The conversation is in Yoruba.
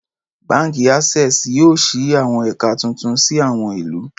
Báǹkì Access yóò ṣí àwọn ẹ̀ka tuntun sí àwọn ìlú